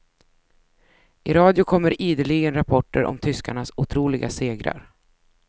I radio kommer ideligen rapporter om tyskarnas otroliga segrar.